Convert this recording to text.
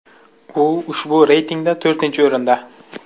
U ushbu reytingda to‘rtinchi o‘rinda.